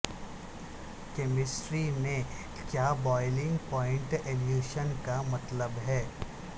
chemistry میں کیا boiling point elevation کا مطلب ہے